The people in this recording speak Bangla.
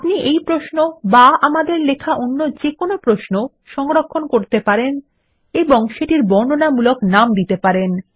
আপনি এই প্রশ্ন বা আমাদের লেখা অন্য যেকোনো প্রশ্ন সংরক্ষণ করতে এবং সেটির বর্ণনামূলক নাম দিতে পারেন